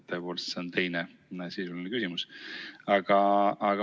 Tõepoolest, see on mul teine sisuline küsimus.